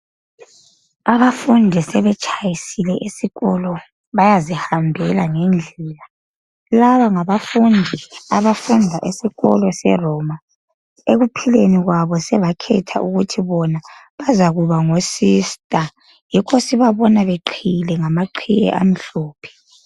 Abafundi sebetshayisile esikolo bayazihambela ngendlela laba ngabafundi abafunda esikolo seroma ekuphileni kwabo sebakhetha ukuthi bona bazakuma ngo sister yikho sibabona beqhiyile ngamaqhiye amhlophe.